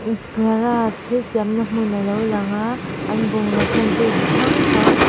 garage thil siamna hmun alo lang a an bungraw hman te ti hrang hrang--